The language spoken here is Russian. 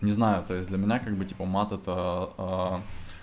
не знаю то есть для меня как бы типа мат это